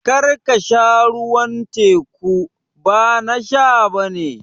Kar ka sha ruwan teku, ba na sha ba ne